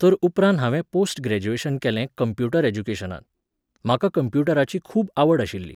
तर उपरांत हांवें पोस्ट ग्रॅज्युएशन केलें कंप्युटर एडुकेशनांत. म्हाका कंप्युटराची खूब आवड आशिल्ली